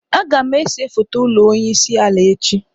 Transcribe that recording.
Agam ese foto ulo onye isi ala echi.